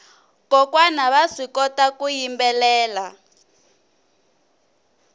kokwana vaswi kota ku yimbelela